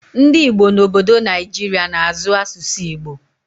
Ndị Igbo n'obodo Naijiria na-azụ asụsụ Igbo